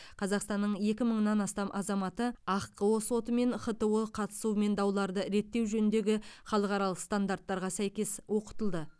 қазақстанның екі мыңнан астам азаматы ахқо соты мен хто қатысуымен дауларды реттеу жөніндегі халықаралық стандарттарға сәйкес оқытылды